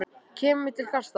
Kemur til kasta landsdóms